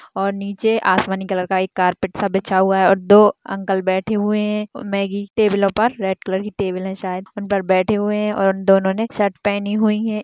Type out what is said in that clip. और निचे आसमानी कलर का एक कारपेट सा बिछा हुआ है और दो अंकल बैठें हुए हैं मेग्गी टेबलों पर रेड कलर की टेबुल है शायद उन पर बैठें हुए हैं और दोनों न शर्ट पहनी हुई हैं।